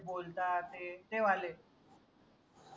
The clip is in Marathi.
बोलतात ते तेवाले